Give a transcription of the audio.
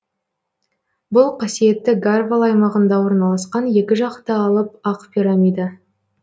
бұл қасиетті гарвал аймағында орналасқан екі жақты алып ақ пирамида